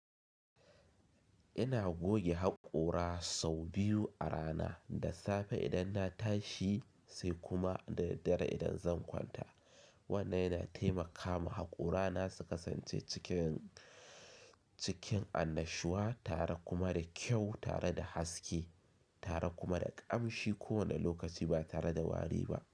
Ina goge haƙora sau biyu a rana, da safe idan na tashi sai kuma da daddare idan zan kwanta. Wannan yana taimaka ma haƙorana su kasance cikin, cikin annashuwa tare kuma da kyau tare da haske tare kuma da ƙamshi kowane lokaci ba tare da wari ba.